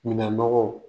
Minɛnmɔgɔw